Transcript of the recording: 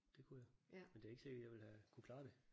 Det kunne jeg. Men det er ikke sikkert jeg ville have kunnet klare det